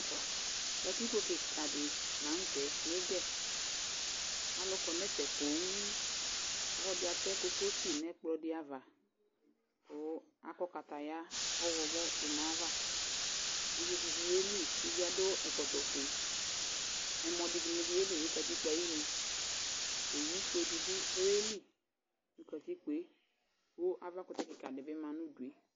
katikpo keka di lantɛ no Igɛ alo kɔ no ɛfɛ ponŋ ɔlɔdi atɛ kokosi no ɛkplɔ di ava ko akɔ kataya ɔwlɔmɔ do no ayi ava uvi di bi yeli uvie ado ɛkɔtɔ fue ɛmɔ di ni bi yeli no katikpo ayinu owu fue di bi yeli no katikpoe ko ava kotɛ keka ne bi ma no udue